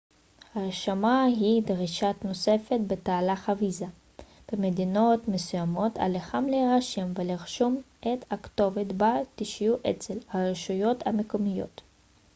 הרשמה היא דרישה נוספת בתהליך הוויזה במדינות מסוימות עליכם להירשם ולרשום את הכתובת בה תשהו אצל הרשויות המקומיות